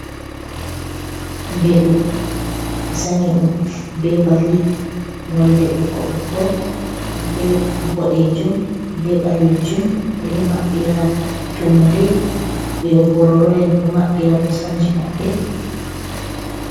Mbeɗu ɓe sanyi ɗum be bali nolde ɓokko-ɓokko be ɓoɗejum, be ɓalejum, ɓeɗo maɓɓira tummude, mbororo'en ɗo maɓɓira kosamji maɓɓe.